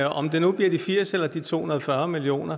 om det nu bliver de firs eller de to hundrede og fyrre million